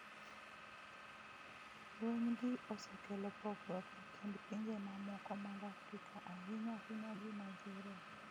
Lweny gi osekelo pogruok e kind pinje mamoko mag Afrika, ahinya ahinya gi Naijeria.